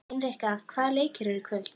Hinrikka, hvaða leikir eru í kvöld?